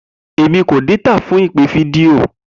Emi ko data fun ipe fidio.